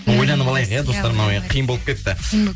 ойланып алайық иә достар мынау қиын болып кетті